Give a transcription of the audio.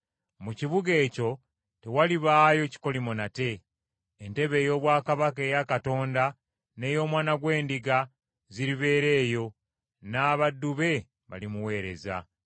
Mu kibuga ekyo tewalibaayo kikolimo nate. Entebe ey’obwakabaka eya Katonda n’ey’Omwana gw’Endiga ziribeera eyo, n’abaddu be balimuweereza,